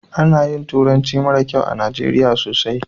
Ana yin turanci mara kyau a najeriya sosai